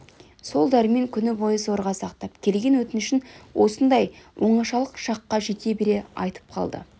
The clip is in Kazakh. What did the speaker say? сол дәрмен күні бойы зорға сақтап келген өтінішін осындай оңашалық шаққа жете бере айтып қалды